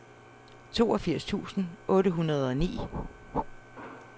toogfirs tusind otte hundrede og ni